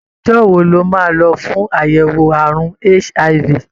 Ọjọ́ wo lo máa lọ fún àyẹ̀wò àrùn HIV?